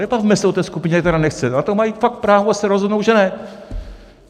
Nebavme se o té skupině, která nechce, na to mají fakt právo se rozhodnout, že ne.